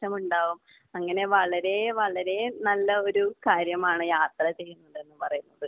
ഉണ്ടാകും. അങ്ങനെ വളരേ വളരേ നല്ല ഒരു കാര്യമാണ് യാത്ര ചെയ്യുന്നത് എന്ന് പറയുന്നത്.